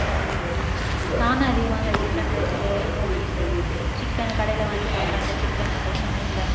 நானும் அதிகமாதான் chicken rice உ noodles உ chicken உ கடையில வாங்கி சாப்பிடுறேன்ல chicken உ அப்ப சொன்னேன்ல